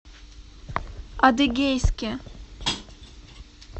адыгейске